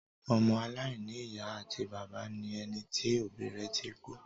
Ọmọ aláìní ìyá àti bàbá ni ẹni tí òbí rẹ ti kú.